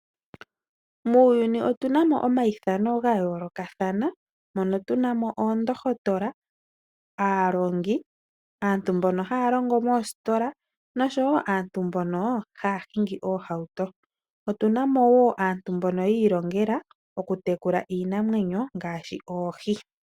Muuyuni otu na mo omayithano ga yoolokathana mono tu na mo oondohotola, aalongi, aantu mbono haya longo moositola noshowo aantu mbono haya hingi oohauto. Otu na mo wo aantu mbono yi ilongela okutekula iinamwenyo ngaashi oohi.